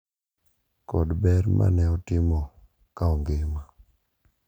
Kod ber ma ne otimo ka ongima.